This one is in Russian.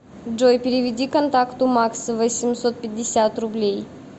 джой переведи контакту макс восемьсот пятьдесят рублей